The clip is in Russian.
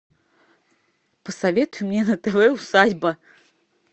посоветуй мне на тв усадьба